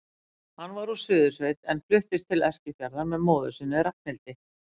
Hann var úr Suðursveit en fluttist til Eskifjarðar með móður sinni, Ragnhildi.